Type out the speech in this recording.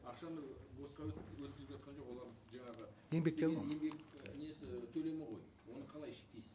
ақшаны босқа өткізіп жатқан жоқ олар жаңағы еңбектен ол еңбек і несі төлемі ғой оны қалай шектейсіз